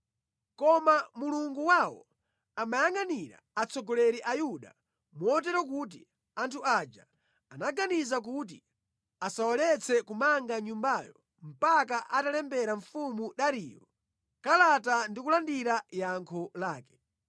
Koma Mulungu wawo amayangʼanira atsogoleri Ayuda, motero kuti anthu aja anaganiza kuti asawaletse kumanga Nyumbayo mpaka atalembera mfumu Dariyo kalata ndi kulandira yankho lake.